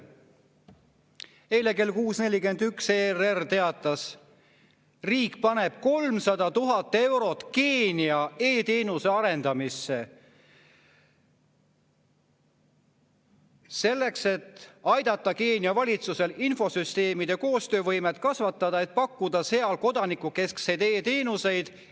Eile kell 6.41 teatas ERR, et riik paneb 300 000 eurot Keenia e‑teenuste arendamisse, et aidata Keenia valitsusel kasvatada infosüsteemide koostöövõimet, et pakkuda seal kodanikukeskseid e‑teenuseid.